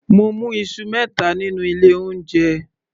Mo mú Isu mẹta nínú ilé oúnjẹ